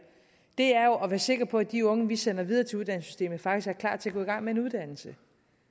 er jo at være sikre på at de unge vi sender videre til uddannelsessystemet faktisk er klar til at gå i gang med en uddannelse